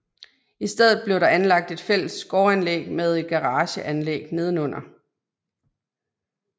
I stedet blev der anlagt et fælles gårdanlæg med et garageanlæg nedenunder